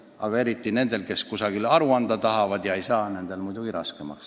Aga nendel, kes kusagil aru anda tahavad ja seda teha ei saa, on nüüd muidugi raskem.